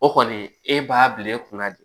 O kɔni e b'a bila e kunna de